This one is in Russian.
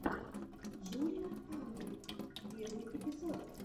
джулия андр первый эпизод